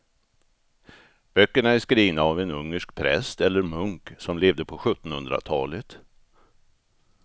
Böckerna är skrivna av en ungersk präst eller munk som levde på sjuttonhundratalet.